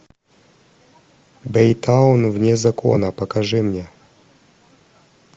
бэйтаун вне закона покажи мне